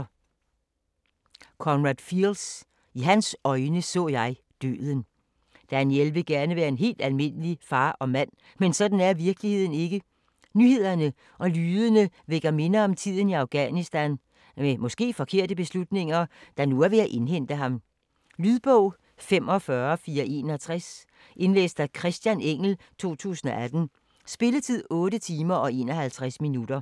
Fields, Conrad: I hans øjne så jeg døden Daniel vil gerne være en helt almindelig far og mand, men sådan er virkeligheden ikke. Nyhederne og lydene vækker minder om tiden i Afghanistan med måske forkerte beslutninger, der nu er ved at indhente ham. Lydbog 45461 Indlæst af Christian Engell, 2018. Spilletid: 8 timer, 51 minutter.